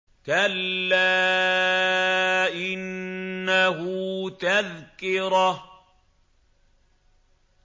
كَلَّا إِنَّهُ تَذْكِرَةٌ